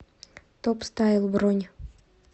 топстайл бронь